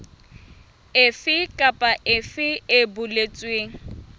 efe kapa efe e boletsweng